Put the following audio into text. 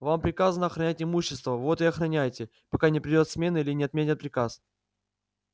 вам приказано охранять имущество вот и охраняйте пока не придёт смена или не отменят приказ